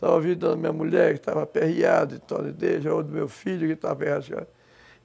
Salvar a vida da minha mulher, que estava aperreada